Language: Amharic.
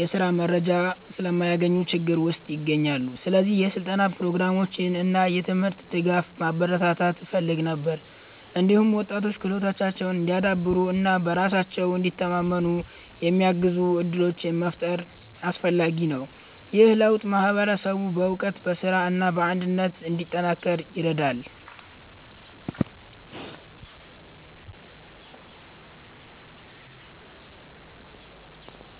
የስራ መረጃ ስለማያገኙ ችግር ውስጥ ይገኛሉ። ስለዚህ የስልጠና ፕሮግራሞችን እና የትምህርት ድጋፍ ማበረታታት እፈልግ ነበር። እንዲሁም ወጣቶች ክህሎታቸውን እንዲያዳብሩ እና በራሳቸው እንዲተማመኑ የሚያግዙ እድሎችን መፍጠር አስፈላጊ ነው። ይህ ለውጥ ማህበረሰቡን በእውቀት፣ በስራ እና በአንድነት እንዲጠናከር ይረዳል።